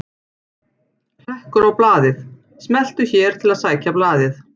Hlekkur á blaðið: Smelltu hér til að sækja blaðið